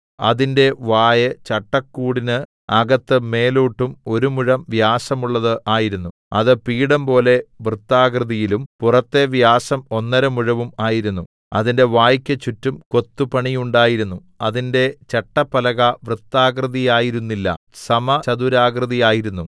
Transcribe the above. അതിന്റെ വായ് ചട്ടക്കൂട്ടിന് അകത്ത് മേലോട്ടും ഒരു മുഴം വ്യാസമുള്ളത് ആയിരുന്നു അത് പീഠം പോലെ വൃത്താകൃതിയിലും പുറത്തെ വ്യാസം ഒന്നര മുഴവും ആയിരുന്നു അതിന്റെ വായ്ക്കു ചുറ്റും കൊത്തുപണിയുണ്ടായിരുന്നു അതിന്റെ ചട്ടപ്പലക വൃത്താകൃതിയായിരുന്നില്ല സമചതുരാകൃതി ആയിരുന്നു